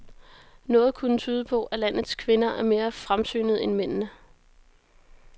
Noget kunne tyde på, at landets kvinder er mere fremsynede end mændene.